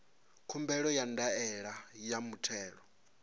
khumbelo ya ndaela ya muthelo